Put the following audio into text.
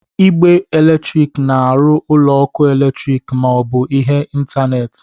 Igbe eletrik na-arụ ụlọ ọkụ eletrik ma ọ bụ ihe ntanetị.